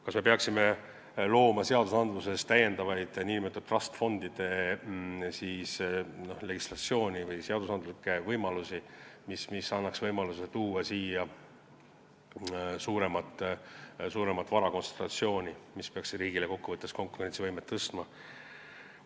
Kas me peaksime looma seadustes nn trust fund'idele täiendavat legislatsiooni või looma seadustes võimalusi, mis annaksid võimaluse tekitada siin suuremat vara kontsentratsiooni, mis peaks kokkuvõttes riigi konkurentsivõimet tõstma?